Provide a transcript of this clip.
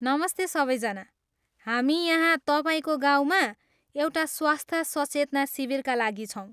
नमस्ते सबैजना, हामी यहाँ तपाईँको गाउँमा एउटा स्वास्थ्य सचेतना शिविरका लागि छौँ।